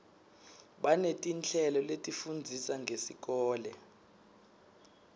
banetinhlelo letifundzisa ngesikolo